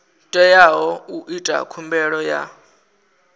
teaho u ita khumbelo ya